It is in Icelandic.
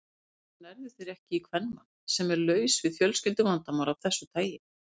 Hvers vegna nærðu þér ekki í kvenmann, sem er laus við fjölskylduvandamál af þessu tagi?